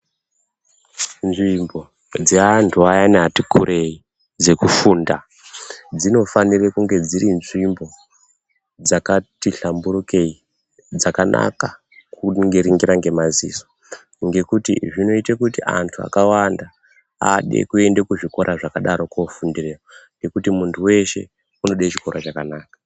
Nzvimbo dzeantu ayani ati kurei dzekufunda, dzinofanire kunge dziri nzvimbo dzakati hlamburukei, dzakanaka kuringira ngemaziso, Ngekuti zvinoite kuti antu akawanda ade kuende kuzvikora zvakadaro kofundire ngekuti muntu weshe unode chikora chakanaka.